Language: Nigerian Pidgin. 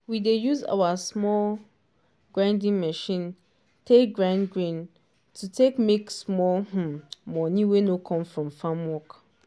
we dey use our small grinding machine take grind grain to take make small um money wey no come from farm work.